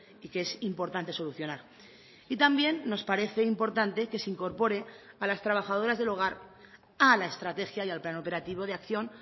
y que es importante solucionar y también nos parece importante que se incorpore a las trabajadoras del hogar a la estrategia y al plan operativo de acción